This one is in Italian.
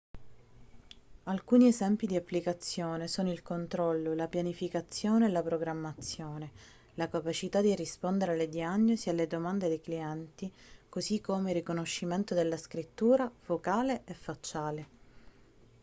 alcuni esempi di applicazione sono il controllo la pianificazione e la programmazione la capacità di rispondere alle diagnosi e alle domande dei clienti così come il riconoscimento della scrittura vocale e facciale